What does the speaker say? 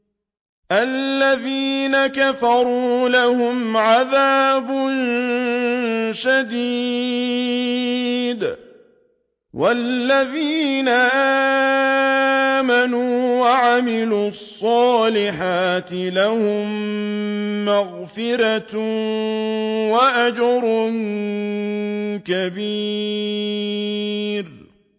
الَّذِينَ كَفَرُوا لَهُمْ عَذَابٌ شَدِيدٌ ۖ وَالَّذِينَ آمَنُوا وَعَمِلُوا الصَّالِحَاتِ لَهُم مَّغْفِرَةٌ وَأَجْرٌ كَبِيرٌ